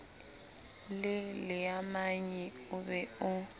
le leamanyi o be o